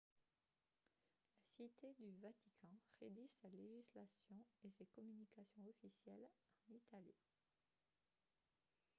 la cité du vatican rédige sa législation et ses communications officielles en italien